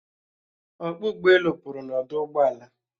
Ọkpọ ụgbọelu pụrụ n'ọdụ ụgbọala